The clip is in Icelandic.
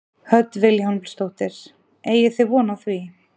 Hödd Vilhjálmsdóttir: Eigið þið von á því?